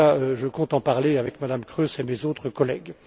En tout cas, je compte en parler avec Mme Kroes et mes autres collègues.